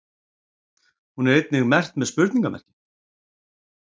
Hún er einnig merkt með??